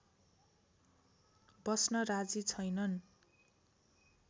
बस्न राजी छैनन्